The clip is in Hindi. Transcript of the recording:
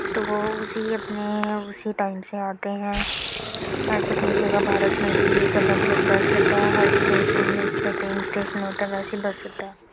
तो वो उसी अपने उसी टाइम से आते हैं| एसे कही जगह भारत में भी एक अलग अलग बस अड्डा है हर स्टेशन है | जैसे ट्रेन स्टेशन होता है वेसे बस होता है।